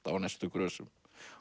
á næstu grösum